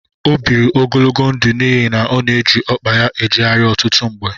O biri ogologo ndụ n'ihi na ọ na eji ọkpa ya ejegharị ọtụtụ mgbe.